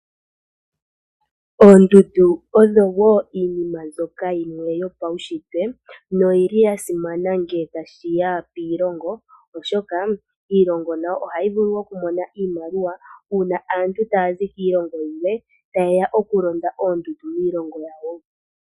Oondundu odho dhimwe dhomuunshitwe noyili yasimana molwaashoka ohayi hili aazayizayi nenge aatalelipo. Shika oshili shina uuwanawa koshilongo molwa iiyemo.